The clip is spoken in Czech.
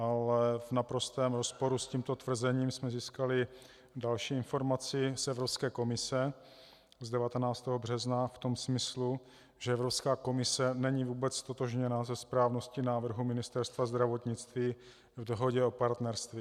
Ale v naprostém rozporu s tímto tvrzením jsme získali další informaci z Evropské komise z 19. března v tom smyslu, že Evropská komise není vůbec ztotožněna se správností návrhu Ministerstva zdravotnictví v dohodě o partnerství.